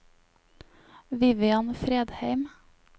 Vivian Fredheim